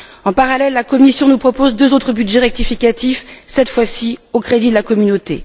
En parallèle, la Commission nous propose deux autres budgets rectificatifs, cette fois ci au crédit de la communauté.